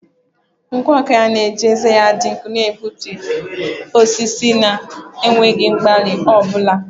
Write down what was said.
Nkwọ aka na-eji ezé ya dị nkọ na-egbutu osisi na enweghị mgbalị ọ bụla.